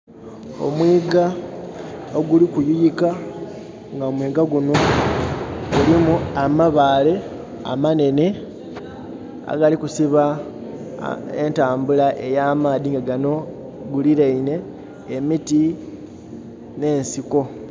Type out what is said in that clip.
Omwiga oguli kuyuyikka nga mwiga gunno gulimu amabale amanene agali kusiba entambula eya maadhi nga gano. Guliraine emiti ne nsiko.